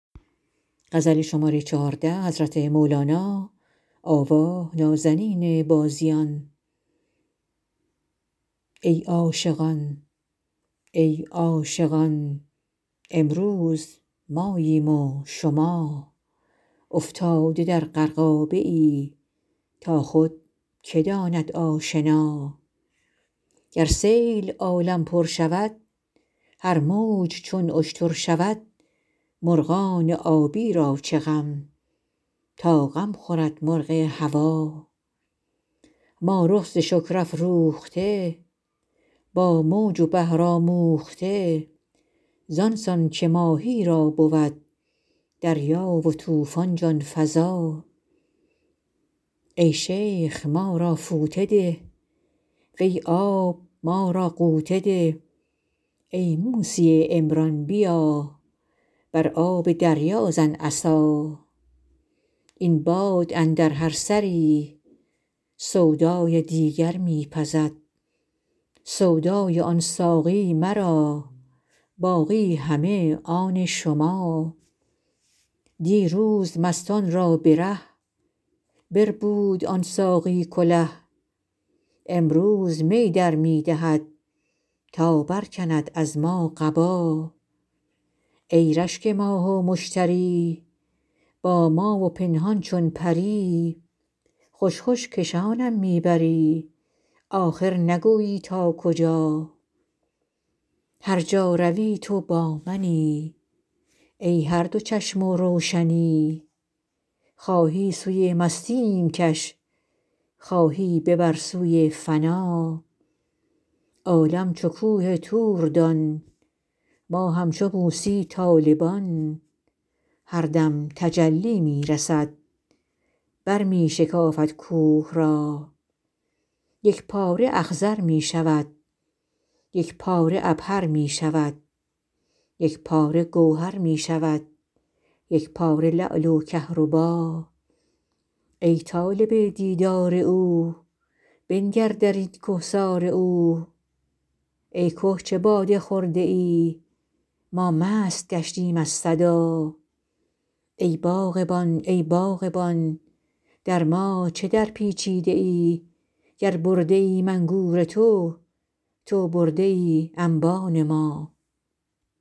ای عاشقان ای عاشقان امروز ماییم و شما افتاده در غرقابه ای تا خود که داند آشنا گر سیل عالم پر شود هر موج چون اشتر شود مرغان آبی را چه غم تا غم خورد مرغ هوا ما رخ ز شکر افروخته با موج و بحر آموخته زان سان که ماهی را بود دریا و طوفان جان فزا ای شیخ ما را فوطه ده وی آب ما را غوطه ده ای موسی عمران بیا بر آب دریا زن عصا این باد اندر هر سری سودای دیگر می پزد سودای آن ساقی مرا باقی همه آن شما دیروز مستان را به ره بربود آن ساقی کله امروز می در می دهد تا برکند از ما قبا ای رشک ماه و مشتری با ما و پنهان چون پری خوش خوش کشانم می بری آخر نگویی تا کجا هر جا روی تو با منی ای هر دو چشم و روشنی خواهی سوی مستیم کش خواهی ببر سوی فنا عالم چو کوه طور دان ما همچو موسی طالبان هر دم تجلی می رسد برمی شکافد کوه را یک پاره اخضر می شود یک پاره عبهر می شود یک پاره گوهر می شود یک پاره لعل و کهربا ای طالب دیدار او بنگر در این کهسار او ای که چه باده خورده ای ما مست گشتیم از صدا ای باغبان ای باغبان در ما چه درپیچیده ای گر برده ایم انگور تو تو برده ای انبان ما